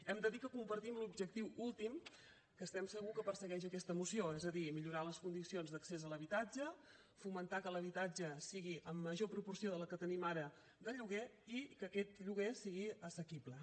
hem de dir que compartim l’objectiu últim que estem segurs que persegueix aquesta moció és a dir millorar les condicions d’accés a l’habitatge fomentar que l’habitatge sigui en major proporció de la que tenim ara de lloguer i que aquest lloguer sigui assequible